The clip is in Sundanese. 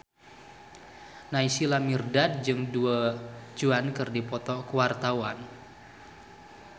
Naysila Mirdad jeung Du Juan keur dipoto ku wartawan